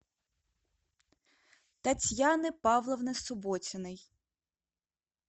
татьяны павловны субботиной